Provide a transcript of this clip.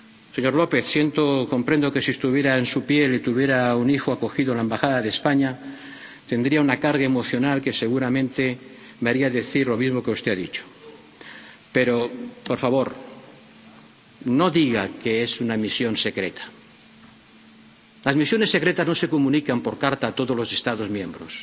Señor López, comprendo que, si estuviera en su piel y tuviera un hijo acogido en la Embajada de España, tendría una carga emocional que seguramente me haría decir lo mismo que usted ha dicho, pero, por favor, no diga que es una misión secreta. Las misiones secretas no se comunican por carta a todos los Estados miembros.